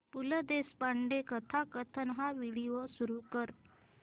पु ल देशपांडे कथाकथन हा व्हिडिओ सुरू कर